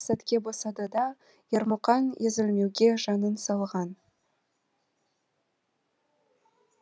көңілі бір ақ сәтке босады да ермұқан езілмеуге жанын салған